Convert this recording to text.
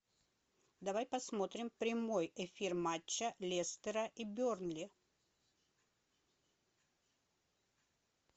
давай посмотрим прямой эфир матча лестера и бернли